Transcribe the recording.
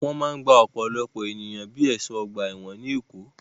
Wọ́n máa ń gba ọ̀pọ̀lọpọ̀ ènìyàn bíi ẹ̀ṣọ́ ọgbà ẹ̀wọ̀n ní Èkó.